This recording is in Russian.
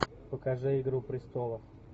покажи игру престолов